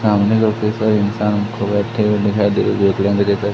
सामने लोग कैसे इंसान को बैठे हुए दिखाई दे रहे --